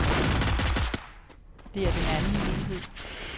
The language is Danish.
Det er den anden mulighed.